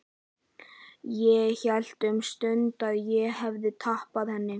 Ég hélt um stund að ég hefði tapað henni.